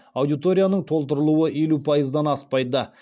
аудиторияның толтырылуы елу пайыздан аспайды